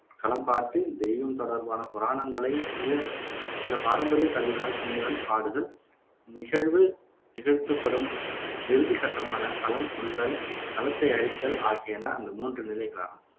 களம் பாட்டு தெய்வம் தொடர்பான புராணங்களை சிய சில பாரம்பரிய கருவிகளால் துணையுடன் பாடுதல், நிகழ்வு நிகழ்த்தப்படும் இறுதிக் கட்டமான களம் துள்ளல் களத்தை அழித்தல் ஆகியன அந்த மூன்று நிலைகளாகும்